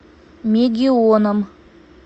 мегионом